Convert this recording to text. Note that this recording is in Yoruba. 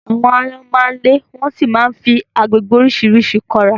Àwọn áyọ́n má ń le wọ́n sì máa fi agbègbè oríṣiríṣi kọ́ra